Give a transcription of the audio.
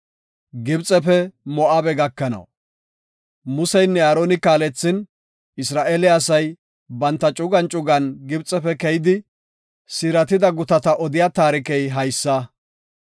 Museynne Aaroni kaalethin, Isra7eele asay, banta cugan cugan Gibxefe keyidi siiratida gutata odiya taarikey haysa.